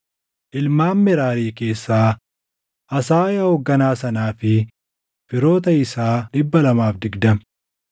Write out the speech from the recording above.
ilmaan Meraarii keessaa, Asaayaa hoogganaa sanaa fi firoota isaa 220;